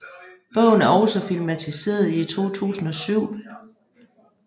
Bogen er også filmatiseret i 2007